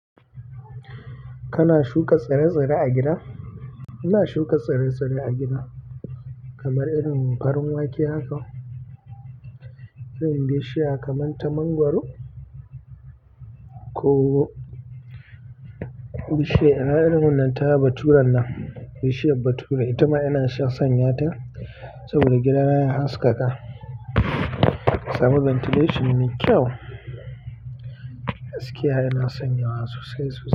Kana shuka tsire-tsire a gida? Ina shuka tsire-tsire a gida kamar irin farin wake haka, irin bishiya kamar ta mangwaro ko bishiya irin wannan ta bature nan, bishiyar bature. Ita ma yana sanya ta saboda gidana ya haskaka, ya sami ventilation mai kyau, haske yana sanyawa sosai.